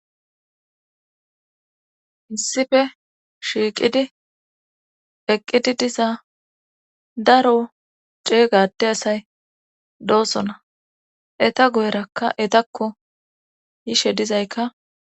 hinsife shiiqidi eqqidi diza daro ceeygade asay doossona eta goyrakka etakko yishe dizaykka